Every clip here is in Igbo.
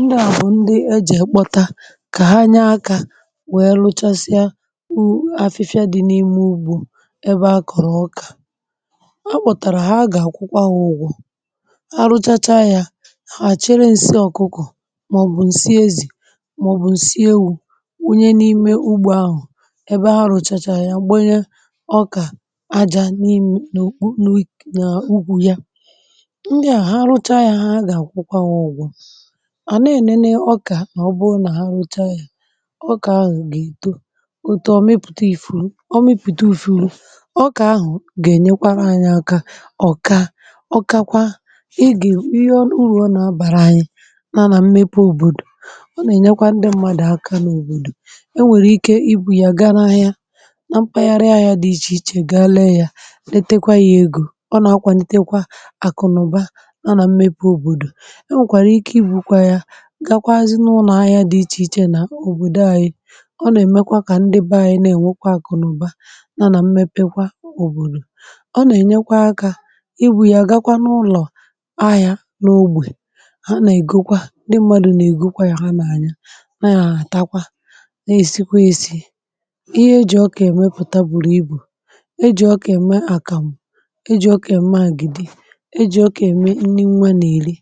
Ndị à bụ̀ ndị ejì ekpọtà kà ha nya akà, wee rụchasịa wụ̀ afịfịa dị̀ n’ime ugbò. Ebe a kọ̀rọ̀ ụkà, a kpọtàrà ha gà àkwụkwa wụ̀gwụ̀... A rụchacha yà, a chere nsị ọkụkọ̀, màọ̀bụ̀ nsị ezì, màọ̀bụ̀ nsị ewu̇, nye n’ime ugbò ahụ̀ ebe ha rụchacha yà. Gbanye ọkà ajà n’ìm n’ugwu ya. Ndị à, ha rụchà yà, ha ga-akwụkwà wụ̀gwụ̀. Ọ kà ọ bụrụ nà ha rụcha yà, ọ kà ahụ̀ gà-èto, ọ tọọ, mepụ̀ta ìfuru. um Ọ mepụ̀ta ìfuru, ọ kà ahụ̀ gà-ènyekwa anya ọkà. Ọkàkwa ị gà, ihe uru ọ nà-abàrà anyị, na nà mmepe òbòdò. Ọ nà-ènyekwa ndị mmadụ̀ aka n’òbòdò. E nwèrè ike ibù ya gaa n’ahịa, na mpaghara ahịa dị iche iche. Gaa lee yà, nete kwa ya egȯ. Ọ nà-akwa, ntekwa àkụnụ̀ba,(um) na nà mmepe òbòdò. Gakwaazị n’ụlọ̀ ahịa dị iche iche nà òbòdo anyị̇. Ọ nà-èmekwa kà ndị be anyị̇ na-ènwekwa àkụ̀nụ̀ba, na nà mmepe kwa òbòdò. Ọ nà-ènyekwa akȧ ibù yà, gakwa n’ụlọ̀ ahịȧ n’ogbè ha.. Nà-ègokwa ndị mmadù, nà-ègokwa yȧ, ha nà-ànya, na-àtakwa, na-èsikwa esi̇ ihe e jì ọkà èmepùta. Bùrù ibù e jì ọkà ème àkàmù, e jì ọkà ème àgịdị, e jì ọkà ème nni nwa nà-èri.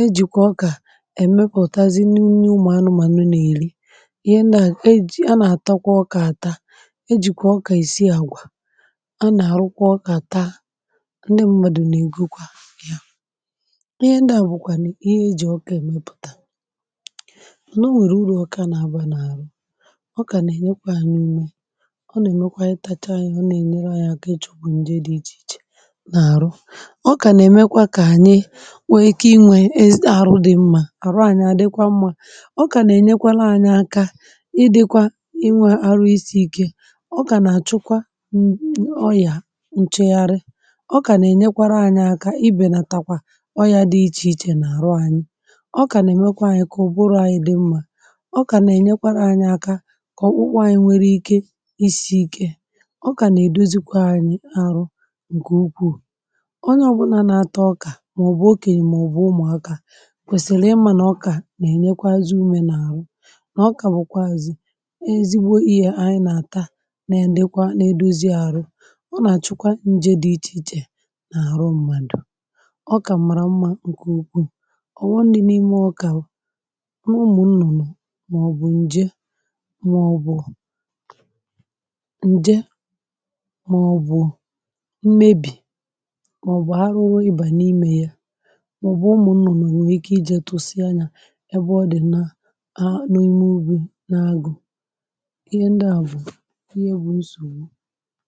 E jìkwà ọkà èmepùtazi n’unye ụmụ̀ anụmànụ nà-èri. Ihe ndị à ejì, a nà-àtakwa ọkà àta. Ejìkwà ọkà èsi àgwà. A nà-àrụkwa ọkà taa... Ndị mmadụ̀ nà-ègwukwa ya. Ihe ndị à bùkwà n’ihe ejì ọkà èmepùtà. Nọ̀, o nwèrè uru ọkà a nà-abụȧ n’àrụ. Ọkà nà-ènye à n’ime, ọ nà-èmekwa anyị tacha yȧ, ọ nà-ènyere anyị aka echọ̇gbụ̀ nje dị̇ iche iche n’àrụ. Nwèrè ike inwė esi àrụ dị̀ mmȧ. Àrụ anyị àdịkwa mmȧ. Ọkà nà-ènyekwara anyị aka ị dị̇kwa inwė arụ isi̇ ike. Ọkà nà-àchụkwa ọyà nchegharị. Ọkà nà-ènyekwara anyị aka ibè, nà takwa ọyȧ dị iche um iche nà-àrụ anyị. Ọkà nà-èmekwe anyị kọ̀ ụbụrụ anyị dị̇ mmȧ. Ọkà nà-ènyekwara anyị aka kà ọkpụkpụ anyị nwee ike isi̇ ike... Ọkà nà-èdozikwa anyị arụ. Nke ukwuù ǹkwèsìlì ịmȧ nà ọkà nà-ènyekwazị umė n’àhụ. Nà ọkà bụ̀kwà azị̀, nà ezigbo iyė anyị nà-àta. um Na-èlekwa, na-edozi àhụ. Ọ nà-àchụkwa njė dị iche iche n’àhụ mmadụ̀. Ọkà màrà mmȧ nke ukwuù. Ọ̀wọ ndị dị̇ n’ime ọkà, n’ụmụ̀ nnụ̀nụ̀, màọ̀bụ̀ ǹjè, màọ̀bụ̀ mmebì, màọbụ̀ ụmụ̀ nnọ̀ nà nwèrè ike ịjėtu usi anya. Ẹbụ, ọ dị̀ nà akpụ̀ n’ime ubè, n’agụ̀. Ihe ndị à bụ̀ ihe bụ̀ nsògbu.